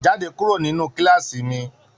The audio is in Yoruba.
Jáde kúrò nínú kilaasi mí!